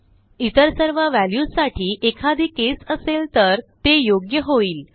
इतर सर्व व्हॅल्यूजसाठी एखादी केस असेल तर ते योग्य होईल